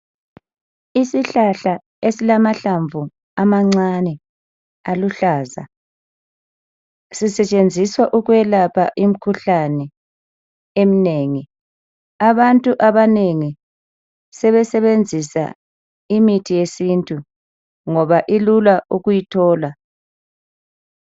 Isihlahla esilamahlamvu amancane aluhlaza sisetshenziswa ukwelapha imikhuhlane eminengi abantu abanengi sebesebenzisa imithi yesintu ngoba ilula ukuyithola.